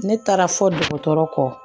Ne taara fɔ dɔgɔtɔrɔ kɔ